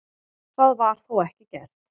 Það var þó ekki gert.